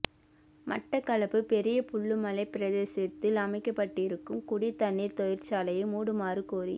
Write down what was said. மட்டக்களப்பு பெரிய புல்லுமலை பிரதேசத்தில் அமைக்கப்பட்டுவரும் குடிதண்ணீர் தொழிற்சாலையை மூடுமாறுகோரி ம